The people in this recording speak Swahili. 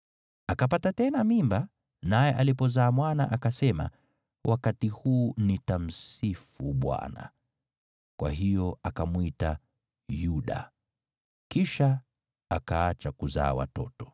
Akapata tena mimba, naye alipozaa mwana, akasema, “Wakati huu nitamsifu Bwana .” Kwa hiyo akamwita Yuda. Kisha akaacha kuzaa watoto.